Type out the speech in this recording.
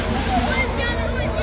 Buyurun, buyurun.